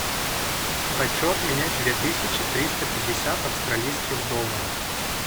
хочу обменять две тысячи триста пятьдесят австралийских долларов